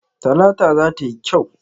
Talata za ta yi kyau.